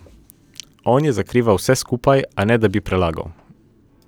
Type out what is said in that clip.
On je zakrivil vse skupaj, a ne da bi prelagal.